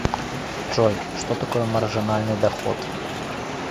джой что такое маржинальный доход